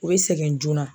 U bɛ sɛgɛn joona